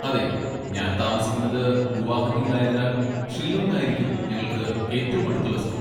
അതെ, ഞാൻ താമസിക്കുന്നത് ഗുവാഹത്തിയിൽ ആയതിനാൽ, ഷില്ലോംഗ് ആയിരിക്കും ഞങ്ങൾക്ക് ഏറ്റവും അടുത്തുള്ള സ്കൂൾ.